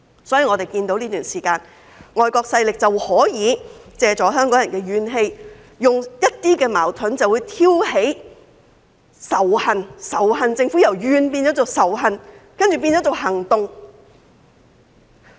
所以，我們看到在這段時間，外國勢力可以借助香港人的怨氣，利用一些矛盾挑起仇恨，由埋怨政府變成仇恨政府，然後再變成行動。